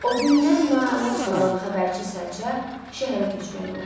O gündən nalaç qalan xəbərçi sərçə şəhərə köçməli oldu.